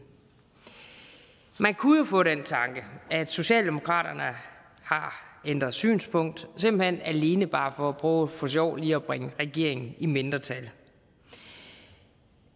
man kunne jo få den tanke at socialdemokratiet har ændret synspunkt simpelt hen alene bare for at prøve for sjov lige at bringe regeringen i mindretal